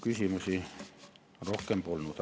Küsimusi rohkem polnud.